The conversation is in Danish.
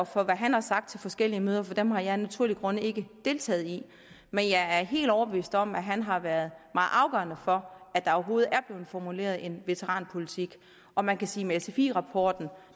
for hvad han har sagt til forskellige møder for dem har jeg af naturlige grunde ikke deltaget i men jeg er helt overbevist om at han har været meget afgørende for at der overhovedet er blevet formuleret en veteranpolitik og man kan sige med sfi rapporten